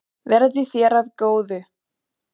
Verði þér að góðu.